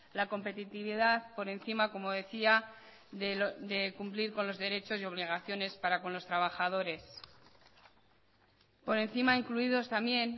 la competitividad por encima como decía de cumplir con los derechos y obligaciones para con los trabajadores por encima incluidos también